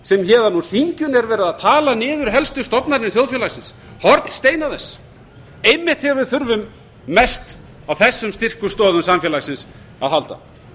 sem héðan úr þinginu er verið að tala niður helstu stofnanir þjóðfélagsins hornsteina þess einmitt þegar við þurfum mest á þessum styrku stoðum samfélagsins að halda